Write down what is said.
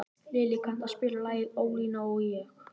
Lillý, kanntu að spila lagið „Ólína og ég“?